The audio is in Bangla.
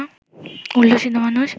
উল্লসিত মানুষ